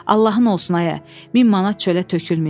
Allahın olsun ayə, min manat çölə tökülməyib.